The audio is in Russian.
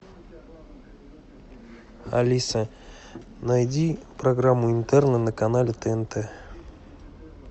алиса найди программу интерны на канале тнт